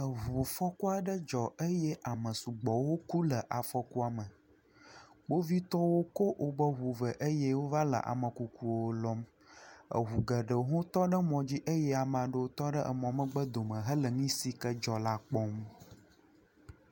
Eŋufɔku aɖe dzɔ eye amewo sugbɔwo ku le ŋua me za. Kpovitɔwo kɔ woƒe ŋuwo vɛ eye wova le ame kukuwo lɔm. Eŋu geɖewo tɔ ɖe mɔ dzi eye ame aɖewo tɔ ɖe emɔ megbe dome hele nu si dzɔ la kpɔm.